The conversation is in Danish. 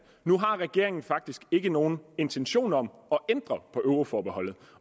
nu har regeringen faktisk ikke nogen intention om at ændre på euroforbeholdet